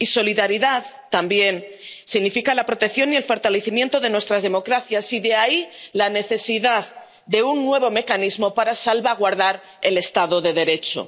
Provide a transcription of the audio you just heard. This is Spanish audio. Y solidaridad también significa la protección y el fortalecimiento de nuestras democracias, y de ahí la necesidad de un nuevo mecanismo para salvaguardar el Estado de Derecho.